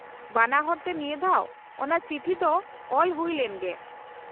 -ᱵᱟᱱᱟᱦᱚᱲ ᱛᱮ ᱱᱤᱭᱟᱫᱷᱟᱣ ᱚᱱᱟ ᱪᱤᱴᱷᱤ ᱫᱚ ᱚᱞ ᱦᱩᱭ ᱞᱮᱱ ᱜᱮ ᱾